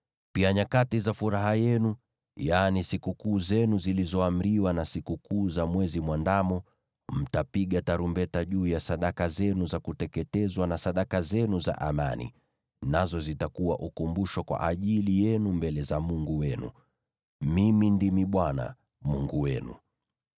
Pia nyakati za furaha yenu, yaani sikukuu zenu zilizoamriwa na sikukuu za Mwezi Mwandamo, mtapiga tarumbeta juu ya sadaka zenu za kuteketezwa na sadaka zenu za amani, nazo zitakuwa ukumbusho kwa ajili yenu mbele za Mungu wenu. Mimi ndimi Bwana , Mungu wenu.”